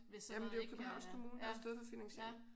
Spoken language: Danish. Jamen det er jo Københavns kommune der har stået for finansieringen